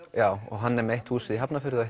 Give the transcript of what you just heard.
hann er með eitt hús í Hafnarfirði og